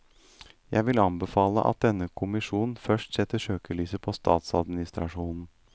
Jeg vil anbefale at denne kommisjonen først setter søkelyset på statsadministrasjonen.